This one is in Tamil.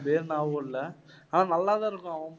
பேர் ஞாபகம் இல்லை ஆனா நல்லா தான் இருக்கும் அவன்